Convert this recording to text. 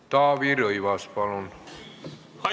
Taavi Rõivas, palun!